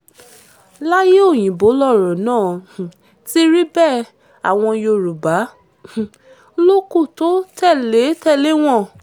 láyé òyìnbó lọ̀rọ̀ náà um ti rí bẹ́ẹ̀ àwọn yorùbá um ló kù tó tẹ̀lé tẹ̀lé wọn